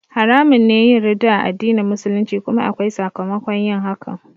Haramun ne yin ridda a addinin Musulunci kuma akwai sakamakon yin hakan